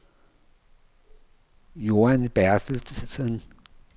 Joan Bertelsen